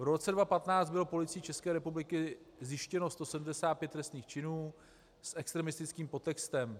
V roce 2015 bylo Policií České republiky zjištěno 175 trestných činů s extremistickým podtextem.